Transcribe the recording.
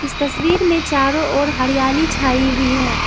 इस तस्वीर में चारों ओर हरियाली छाई हुई है।